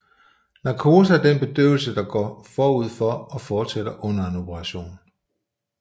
Narkose er den bedøvelse der går forud for og fortsætter under en operation